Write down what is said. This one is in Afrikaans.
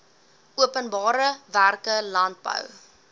openbare werke landbou